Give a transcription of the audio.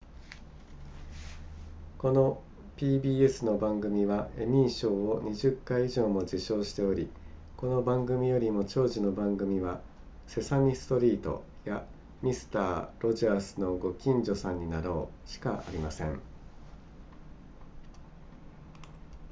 この pbs の番組はエミー賞を20回以上も受賞しておりこの番組よりも長寿の番組はセサミストリートやミスターロジャースのご近所さんになろうしかありません